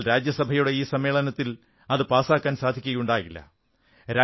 എന്നാൽ രാജ്യസഭയുടെ ഈ സമ്മേളനത്തിൽ അത് പാസാക്കാൻ സാധിക്കയുണ്ടായില്ല